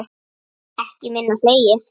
Ekki minna hlegið.